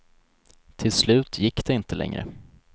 Till slut gick det inte längre.